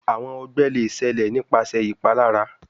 Awọn ọgbẹ le ṣẹlẹ nipasẹ ipalara